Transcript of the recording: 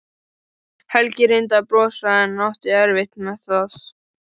Helgi reyndi að brosa en átti erfitt með það.